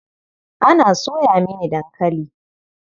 Ana soya mini dankali.